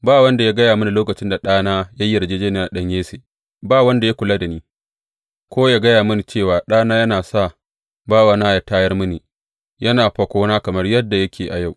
Ba wanda ya gaya mini lokacin da ɗana ya yi yarjejjeniya da ɗan Yesse, ba wanda ya kulla da ni, ko ya gaya mini cewa ɗana ya sa bawana yă tayar mini, yana fakona kamar yadda yake a yau.